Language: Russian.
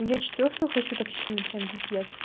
я четвёртую хочу так сильно прямо пипец